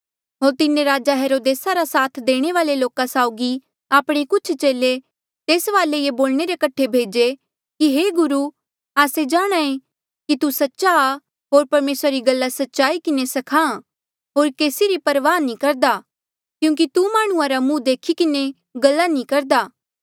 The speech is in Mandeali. होर तिन्हें राजा हेरोदेसा रा साथ देणे वाल्ऐ लोका साउगी आपणे कुछ चेले तेस वाले ये बोलणे रे कठे भेजे कि हे गुरु आस्से जाणहां ऐें कि तू सच्चा आ होर परमेसरा री गल्ला सच्चाई किन्हें स्खाहां होर केसी री परवाह नी करदा क्यूंकि तू माह्णुं रा मुंह देखी किन्हें गल्ला नी करदा